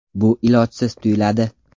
Bu ilojsiz tuyuladi.